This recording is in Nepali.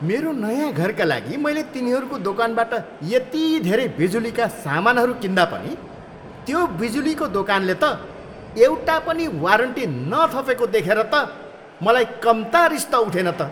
मेरो नयाँ घरका लागि मैले तिनीहरूको दोकानबाट यति धेरै बिजुलीका सामानहरू किन्दा पनि त्यो बिजुलीको दोकानले त एउटा पनि वारन्टी नथपेको देखेर त मलाई कम्ता रिस त उठेन त।